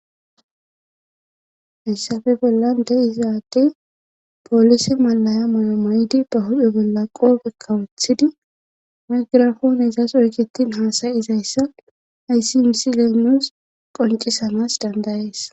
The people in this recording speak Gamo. hayssape bollan de7izaadey poolise malaya mayomaydi ba hudhe bolla qoofe kawothidi mugirafoone izas oyketin haasayi izayssa ayssi miisi leenos qoncisanas dandayees